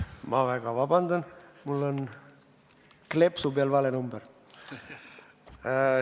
Ma väga vabandan, mul on kleepsu peal vale number.